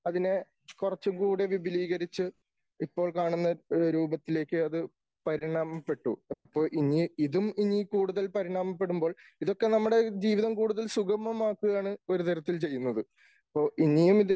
അതിനെ കുറച്ചുകൂടി വിപുലീകരിച്ച് ഇപ്പോൾ കാണുന്ന രൂപത്തിലേക്ക് അത് പരിണാമപ്പെട്ടു. അപ്പോൾ ഇനി ഇതും ഇനി കൂടുതൽ പരിണാമപ്പെടുമ്പോൾ ഇതൊക്കെ നമ്മുടെ ജീവിതം കൂടുതൽ സുഗമമാക്കുകയാണ് ഒരുതരത്തിൽ ചെയ്യുന്നത്. അപ്പോൾ ഇനിയും ഇത്